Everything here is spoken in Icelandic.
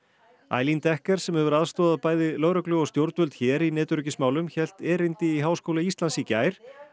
Decker sem hefur aðstoðað bæði lögreglu og stjórnvöld hér í netöryggismálum hélt erindi í Háskóla Íslands í gær